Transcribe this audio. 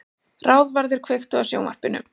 Ráðvarður, kveiktu á sjónvarpinu.